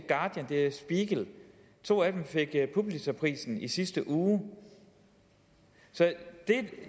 guardian det er der spiegel to af dem fik pulitzerprisen i sidste uge så det